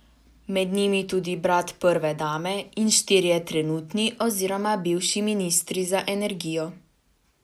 Med njimi tudi brat prve dame in štirje trenutni oziroma bivši ministri za energijo.